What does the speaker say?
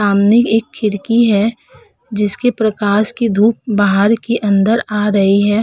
सामने एक खिरकी है जिसके प्रकाश की धूप बाहर की अंदर आ रही है।